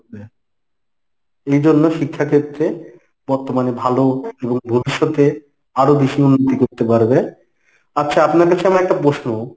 এই জন্য শিক্ষাক্ষেত্রে বর্তমানে ভালো ভবিষ্যতে আরো বেশি উন্নতি করতে পারবে। আচ্ছা আপনার কাছে আমার একটা প্রশ্ন